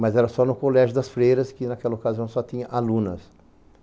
Mas era só no Colégio das Freiras, que naquela ocasião só tinha alunas.